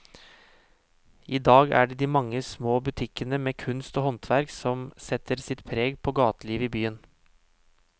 I dag er det de mange små butikkene med kunst og håndverk som setter sitt preg på gatelivet i byen.